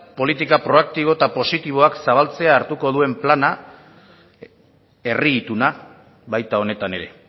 politika proaktibo eta positiboak zabaltzea hartuko duen plana herri ituna baita honetan ere